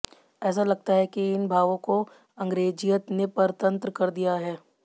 ऐसा लगता है कि इन भावों को अंग्रेजियत ने परतन्त्र कर दिया है